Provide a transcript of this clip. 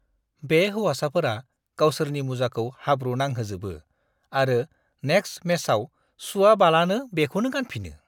बे हौवासाफोरा गावसोरनि मुजाखौ हाब्रु नांहोजोबो आरो नेक्स्ट मेचआव सुवाबालानो बेखौनो गानफिनो।